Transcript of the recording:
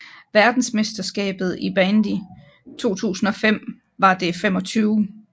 Verdensmesterskabet i bandy 2005 var det 25